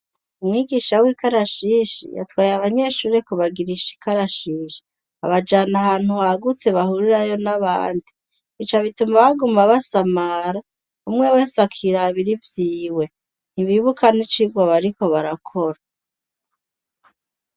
Umwigisha w'ikarashishi, yatwaye abanyeshure kubagirisha ikarashishi abajana ahantu hagutse bahurirayo n'abandi, bica bituma baguma basamara umwe wese akirabira ivyiwe ntibibuka n'icigwa bariko barakora.